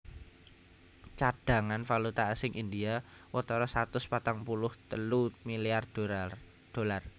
Cadhangan valuta asing India watara satus patang puluh telu milyar dolar